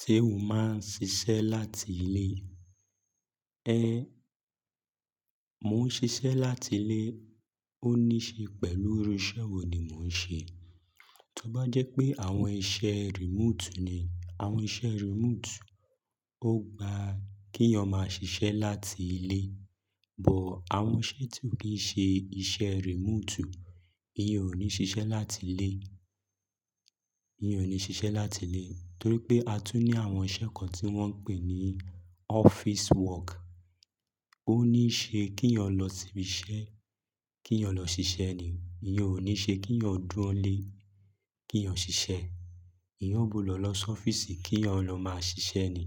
Ṣé o máa ń ṣiṣẹ́ láti ilé? É, mo ń ṣiṣẹ́ láti ilé. Ó ní ṣe pẹ̀lú irú iṣẹ́ wo ni mò ń ṣe. Tí ó bá jẹ́ pé àwọn iṣẹ́ remote ni, àwọn iṣẹ́ remote ó gba kí eeyan má ṣiṣẹ́ láti ilé. But àwọn iṣẹ́ tí ò kí ń ṣe iṣẹ́ remote, eeyan ò ní ṣiṣẹ́ láti ilé. Eeyan ò ní ṣiṣẹ́ láti ilé, torí pé a tún ní àwọn iṣẹ́ kan tí wọ́n ń pè ní office work. Ó ní ṣe kí eeyan lọ si ibi iṣẹ́, kí eeyan lọ ṣiṣẹ́ ni. Ìyẹn ò ní ṣe kí eeyan dúró nílé kí eeyan ṣiṣẹ́. Eeyan ó gbudo lọ si ọ́fíìsì kí eeyan lọ máa ṣiṣẹ́ ni.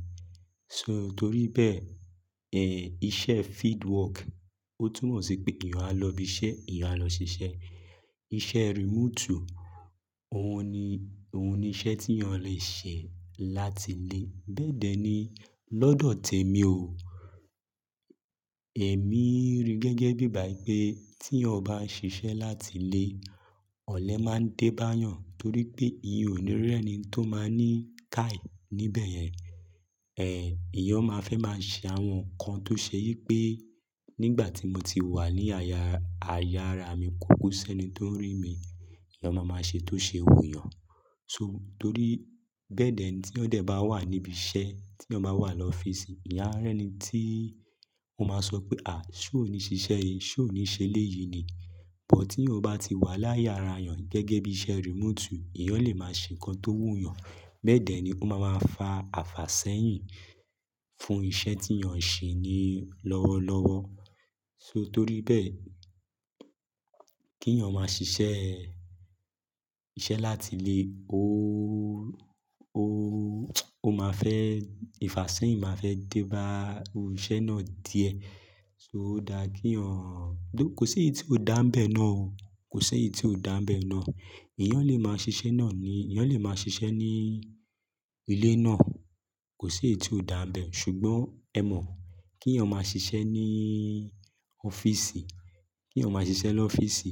So torí bẹ́ẹ̀, iṣẹ́ field work ó tún mọ̀ sí pé eeyan á lọ ibi iṣẹ́, eeyan á lọ ṣiṣẹ́. Iṣẹ́ remote ohun ni, òhun ni iṣẹ́ tí eeyan lè ṣe láti ilé. Bẹ́ẹ̀dẹ́ ni lọ́dọ̀ tèmi o. Èmi rí gẹ́gẹ́ bí i igbá i pé tí eeyan bán ṣiṣẹ́ láti ilé, ọ̀lẹ máa ń dé báa yàn torí pé eeyan ò ní rí ẹ̀ni tó máa ní kai níbẹ̀ yẹn. Ẹ̀ eeyan o máa fẹ́ máa ṣe àwọn nǹkan tó ṣe yí pé nígbà tí mo ti wà ní aya, aya ara mi kúkú sẹ́ni tó ń rí mi. Eeyan máa máa ṣe tó ṣe wù eeyàn. So torí bẹ́ẹ̀dẹ́ ni tí eeyan dẹ̀ bá wà níbi iṣẹ́, tí eeyan bá wà lọ́fíìsì, eeyan a rẹ ni tí ó máa sọ pé, "a ṣó ò ní ṣiṣẹ́ yìí? Ṣó ò ní ṣe eléyìí ni?" But tí eeyan bá ti wà láyé ara èèyàn gẹ́gẹ́ bí iṣẹ́ remote, eeyan lè máa ṣe nǹkan tó wú yàn. Bẹ́ẹ̀dẹ́ ni ó máa máa fa àfàsẹ́yìn fún iṣẹ́ tí eeyan ń ṣe ni lọ́wọ́lọ́wọ́. So torí bẹ́ẹ̀, kí eeyan máa ṣiṣẹ́ iṣẹ́ láti ilé, óóó ó máa fẹ́ ìfàsẹ́yìn máa fẹ́ dé bá irú iṣẹ́ náà díẹ̀. So ó dáa kí eeyan tho kò sí èyí tí ó dáńbẹ̀ náà o. Kò sí èyí tí ó dáńbẹ̀ náà. Eeyan lè máa ṣiṣẹ́ náà ni, eeyan lè máa ṣiṣẹ́ ní ilé náà. Kò sí èyí tí ó dáńbẹ̀ ṣùgbọ́n ẹ mọ̀ kí eeyan máa ṣiṣẹ́ ní ọ́fíìsì, kí eeyan máa ṣiṣẹ́ lọ́fíìsì,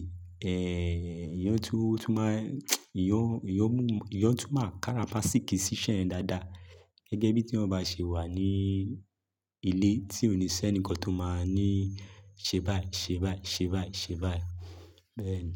eeyan tún, tún máa eeyan, eeyan mú, eeyan tún máa kára fàsíkí sí iṣẹ́ yẹ̀n dáadáa. Gẹ́gẹ́ bí tí eeyan bá ṣe wà ní ilé tí ò ní sẹ́ni kan tó máa ní, "ṣe báyìí, ṣe báyìí, ṣe báyìí, ṣe báyìí." Bẹ́ẹ̀ ni.